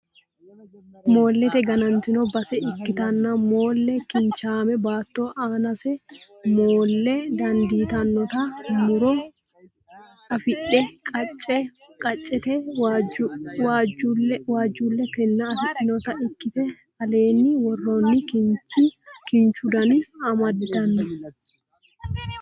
Moollete ganantino base ikkitanna Moola kinchaame baatto aanase moolle dandiitannota muro afidhe qacce qaccete waajjuulle kinna afidhinota ikkite alenna woronni kinchu duuno amaddino